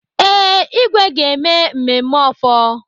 Ee, igwe ga-eme mmemme ofor.